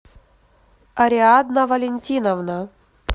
ариадна валентиновна